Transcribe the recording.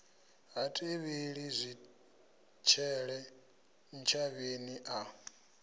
ha tevheli zwitshele ntshavheni a